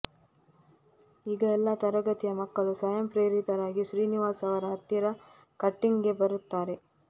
ಈಗ ಎಲ್ಲಾ ತರಗತಿಯ ಮಕ್ಕಳು ಸ್ವಯಂ ಪ್ರೇರಿತರಾಗಿ ಶ್ರೀನಿವಾಸ್ ಅವರ ಹತ್ತಿರ ಕಟ್ಟಿಂಗ್ಗೆ ಬರುತ್ತಾರೆ